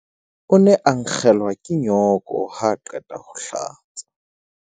o ne a nkgelwa ke nyooko ha a qeta ho hlatsa